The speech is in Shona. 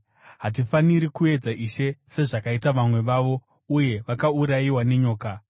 Hatifaniri kuedza Ishe, sezvakaita vamwe vavo, uye vakaurayiwa nenyoka.